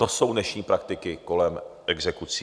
To jsou dnešní praktiky kolem exekucí.